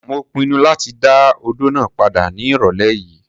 Mo pinnu láti dá odó náà padà ní ìrọ̀lẹ́ yìí.